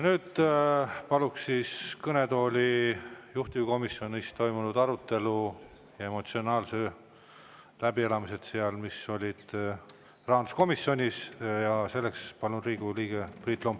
Nüüd palun kõnetooli juhtivkomisjonis toimunud arutelu ja emotsionaalseid läbielamisi, mis rahanduskomisjonis olid, Riigikogu liikme Priit Lombi.